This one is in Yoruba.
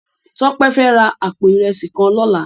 Tope fè rá àpó irèsí kán lòlá